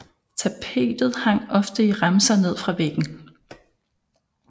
Tapetet hang ofte i remser ned fra væggen